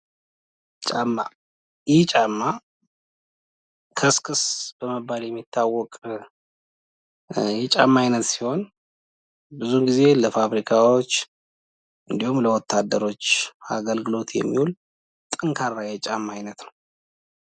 ጫማ፦ ይህ ጫማ ከስክስ በመባል የሚታወቅ የጫማ አይነት ሲሆን ፤ ብዙ ጊዜ ለፋብሪካዎች እንዲሁም ለወታደሮች አገልግሎት የሚውል ጠንካራ የጫማ አይነት ነው።